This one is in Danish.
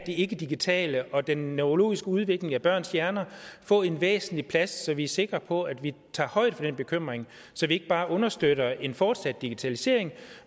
det ikkedigitale og den neurologiske udvikling af børns hjerner få en væsentlig plads så vi er sikre på at vi tager højde for den bekymring så vi ikke bare understøtter en fortsat digitalisering